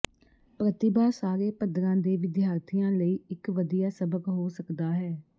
ਪ੍ਰਤਿਭਾ ਸਾਰੇ ਪੱਧਰਾਂ ਦੇ ਵਿਦਿਆਰਥੀਆਂ ਲਈ ਇਕ ਵਧੀਆ ਸਬਕ ਹੋ ਸਕਦਾ ਹੈ